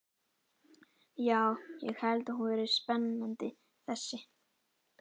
Já, ég held hún verði spennandi þessi.